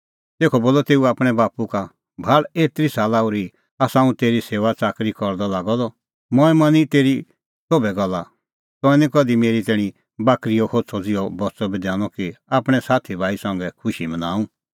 तेखअ बोलअ तेऊ आपणैं बाप्पू का भाल़ एतरी साला ओर्ही आसा हुंह तेरी सेऊआच़ाकरी करदअ लागअ द मंऐं मनी तेरी सोभै गल्ला तंऐं निं कधि मेरी तैणीं बाकरीओ होछ़अ ज़िहअ बच्च़अ बी दैनअ कि आपणैं साथी भाई संघै खुशी मनाऊं